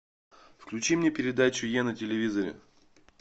включи мне передачу е на телевизоре